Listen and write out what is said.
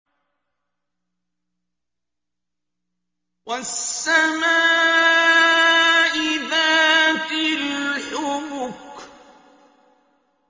وَالسَّمَاءِ ذَاتِ الْحُبُكِ